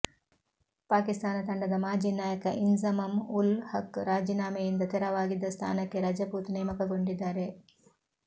ಪಾಕಿಸ್ತಾನ ತಂಡದ ಮಾಜಿ ನಾಯಕ ಇಂಝಮಮ್ ಉಲ್ ಹಕ್ ರಾಜೀನಾಮೆಯಿಂದ ತೆರವಾಗಿದ್ದ ಸ್ಥಾನಕ್ಕೆ ರಜಪೂತ್ ನೇಮಕಗೊಂಡಿದ್ದಾರೆ